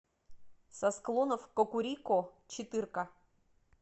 со склонов кокурико четыре к